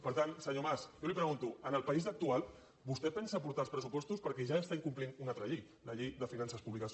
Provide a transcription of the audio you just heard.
per tant senyor mas jo li pregunto en el país actual vostè pensa portar els pressupostos perquè ja està incomplint una altra llei la llei de finances públiques